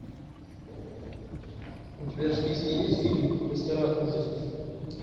у тебя в списке есть фильм мастера ужасов